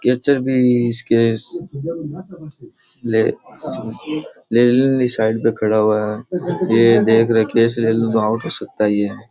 केचर भी इसके ले लेनी साइड मे खड़ा हुआ है ये देख रहा है की कैच ले लू तो आउट हो सकता ये।